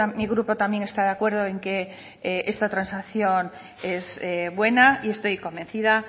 mi grupo también está de acuerdo en que esta transacción es buena y estoy convencida